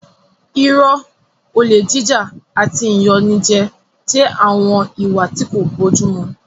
Irọ́, olè jíjà àti ìyanijẹ jẹ́ àwọn ìwà tí kò bójú mu